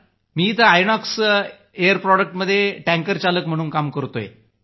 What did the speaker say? मी इथं आयनॉक्स एअर प्रॉडक्टमध्ये टँकर चालक म्हणून काम करतोय